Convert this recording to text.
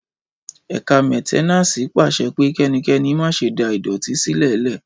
Ẹkà mẹtẹnàsí pàse pẹ; Kẹníkẹ̀nì mà sẹ dà ìdọtí sílẹlẹ.